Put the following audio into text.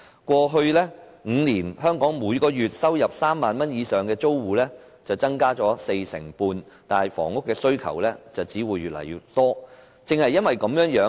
過去5年，香港每月收入3萬元以上的租戶增加四成半，但房屋需求只會越來越多。